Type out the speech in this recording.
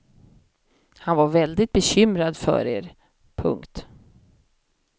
Han var väldigt bekymrad för er. punkt